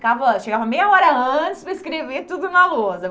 Ficava Chegava meia hora antes para escrever tudo na lousa.